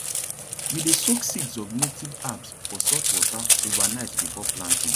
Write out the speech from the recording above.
we dey soak seeds of native herbs for salt water overnight before planting